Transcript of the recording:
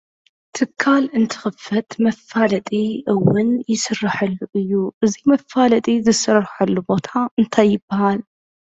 ትካል እንትኽፈት መፋለጢ እውን ይስራሐሉ እዩ እዙይ መፋለጢ ዝሠረርሐሉ ቦታ እንተይ ይብሃል?